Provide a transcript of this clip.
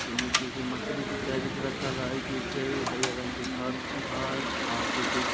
उन किसी मछली की कैरट रखल है उजैय हरियर रंग के घर हेय और किसी--